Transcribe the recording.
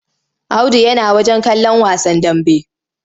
Audu yana wajen kallon wasan dambe.